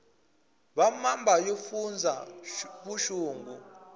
va mamba yo fundza vuxungu